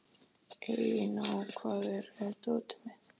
Elíná, hvar er dótið mitt?